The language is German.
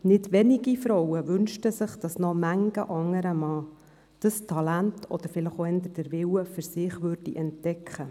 Nicht wenige Frauen wünschten sich, dass noch viele andere Männer dieses Talent oder vielleicht auch eher den Willen dazu bei sich entdeckten.